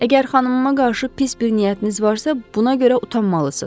Əgər xanımıma qarşı pis bir niyyətiniz varsa, buna görə utanmalısınız.